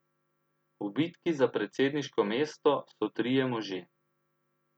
V bitki za predsedniško mesto so trije možje.